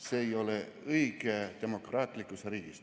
See ei ole demokraatlikus riigis õige.